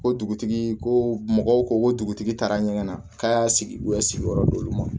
Ko dugutigi ko mɔgɔw ko ko dugutigi taara ɲɛgɛn na k'a y'a sigi u ye sigiyɔrɔ d'olu ma